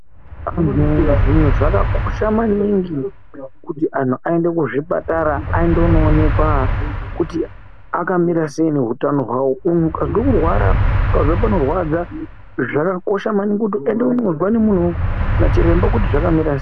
Zvimwe zvinhu zvakakosha maningi kuti antu aende kuzvipatara aende kunoonekwa kuti akamira sei nehutano hwawo, muntu ukazwa kurwara, ukazwa panorwadza zvakakosha maningi kuti uende kunozwa ngemuntu nachiremba kuti zvakamira sei?